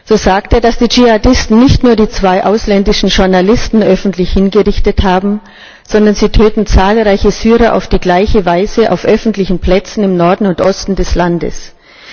So sagt er, dass die Dschihadisten nicht nur die zwei ausländischen Journalisten öffentlich hingerichtet haben, sondern dass sie zahlreiche Syrer auf die gleiche Weise auf öffentlichen Plätzen im Norden und Osten des Landes töten.